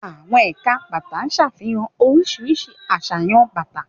Àwọn ẹ̀ka bàtà ṣàfihàn oríṣiríṣi àṣàyàn bàtà.